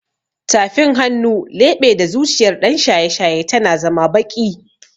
Tafin hannu, leɓe da zuciyar ɗan shaye-shaye tana zama baƙi